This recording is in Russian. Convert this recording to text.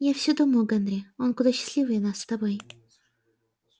я все думаю генри он куда счастливее нас с тобой